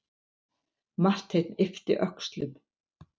Marteinn yppti öxlum.